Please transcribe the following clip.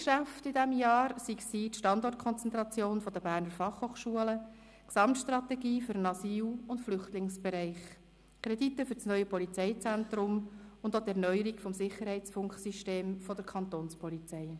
Geschäfte in jenem Jahr waren die Standortkonzentration der Berner Fachhochschule (BFH), die Gesamtstrategie für den Asyl- und Flüchtlingsbereich, die Kredite für das neue Polizeizentrum und auch die Erneuerung des Sicherheitsfunksystems der Kantonspolizei.